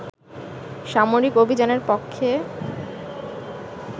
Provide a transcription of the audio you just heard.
সামরিক অভিযানের পক্ষে